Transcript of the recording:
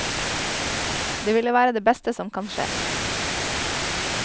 Det ville være det beste som kan skje.